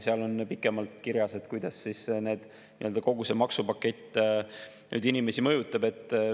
Seal on pikemalt kirjas, kuidas kogu see maksupakett inimesi mõjutab.